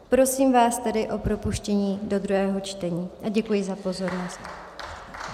Prosím vás tedy o propuštění do druhého čtení a děkuji za pozornost.